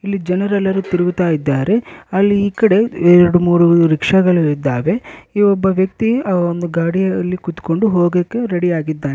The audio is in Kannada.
ಇಲ್ಲಿ ಜನರೆಲ್ಲರು ತಿರುಗುತ್ತಾ ಇದ್ದಾರೆ ಅಲ್ಲಿ ಈಕಡೆ ಎರಡು ಮೂರು ರಿಕ್ಷಾ ಗಳು ಇದ್ದಾವೆ ಈ ಒಬ್ಬ ವ್ಯಕ್ತಿ ಆ ಒಂದು ಗಾಡಿಯಲ್ಲಿ ಕುತ್ಕೊಂಡು ಹೋಗಕ್ಕೆ ರೆಡಿ ಆಗಿದ್ದಾನೆ.